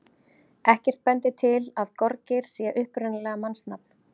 Ekkert bendir til að gorgeir sé upprunalega mannsnafn.